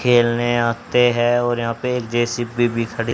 खेलने आते हैं और यहां पे जे_सी_बी भी खड़ी--